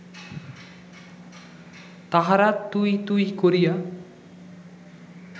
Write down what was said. তাহারা ‘তুই’ ‘তুই’ করিয়া